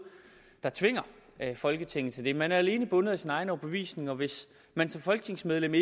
der tvinger folketinget til det man er alene bundet af sin egen overbevisning og hvis man som folketingsmedlem